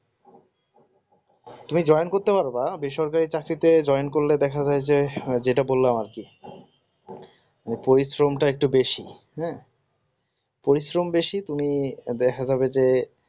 তুমি join করতে পারবা বেসরকারি চাকরিতে join করে দেখা গেল যে যেটা বললাম আর কি ওই পরিশ্রমটা একটু বেশি হ্যাঁ পরিশ্রম বেশি তুমি দেখা যাবে যে